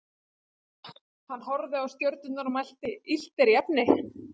Hann horfði á stjörnurnar og mælti: Illt er í efni.